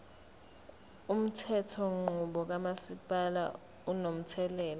umthethonqubo kamasipala unomthelela